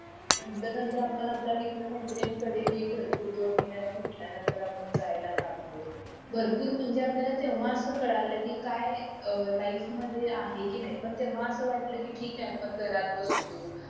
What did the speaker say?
नतंर नतंर आपण आपल्या मित्र मैत्रिणींना कडे हि भरपूर दोन महिन्यान भेटल्या नतंर आपण जायला लागलो भरपूर म्हणजे आपल्याला तेव्हा स कळलं कि काय अं लाईफ मध्ये आहे कि नाही पण तेव्हा असं वाटलं कि ठीके आपण घरात बसलो